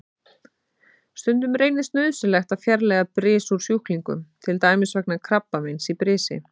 Stundum reynist nauðsynlegt að fjarlægja bris úr sjúklingum, til dæmis vegna krabbameins í brisi.